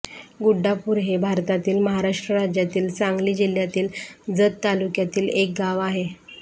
गुड्डापूर हे भारतातील महाराष्ट्र राज्यातील सांगली जिल्ह्यातील जत तालुक्यातील एक गाव आहे